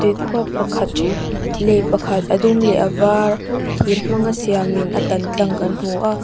pakhat lei pakhat a dum leh a var thir hmanga siamin a tan tlang kan hmu a.